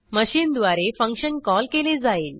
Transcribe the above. machine द्वारे function call केले जाईल